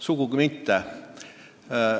Sugugi mitte!